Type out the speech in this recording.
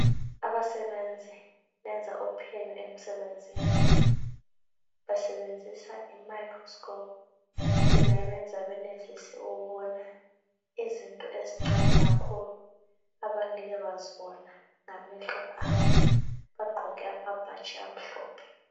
Abasebenzi benza uphenyo emsebenzini. Basebenzisa i microscope yona eyenza benelise ukubona izinto ezincane kakhulu abangeke bazibone ngamehlo abo. Bagqoke amabhatshi amhlophe.